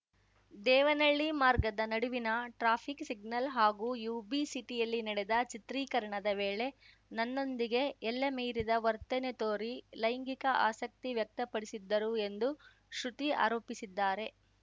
ದೇವನಳ್ಳಿ ಮಾರ್ಗದ ನಡುವಿನ traffic signal ಹಾಗೂ ಯುಬಿ ಸಿಟಿಯಲ್ಲಿ ನಡೆದ ಚಿತ್ರೀಕರಣದ ವೇಳೆ ನನ್ನೊಂದಿಗೆ ಎಲ್ಲೆ ಮೀರಿದ ವರ್ತನೆ ತೋರಿ ಲೈಂಗಿಕ ಆಸಕ್ತಿ ವ್ಯಕ್ತಪಡಿಸಿದ್ದರು ಎಂದು ಶ್ರುತಿ ಆರೋಪಿಸಿದ್ದಾರೆ